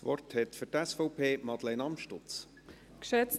Für die SVP hat Madeleine Amstutz das Wort.